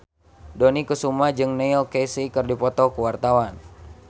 Dony Kesuma jeung Neil Casey keur dipoto ku wartawan